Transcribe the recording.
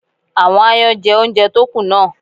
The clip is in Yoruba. Àwọn aáyán jẹ oúnjẹ tó kù náà.